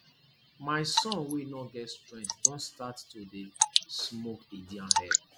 my son wey no get strength don start to dey dey smoke indian hemp